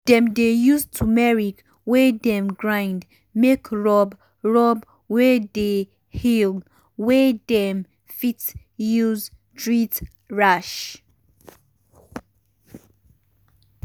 dem dey use turmeric wey dem grind make rub rub wey dey heal wey dem fit use treat rash.